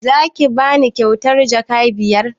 Za ki bani kyautar jaka biyar?